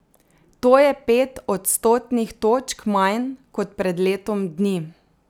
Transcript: To je pet odstotnih točk manj kot pred letom dni.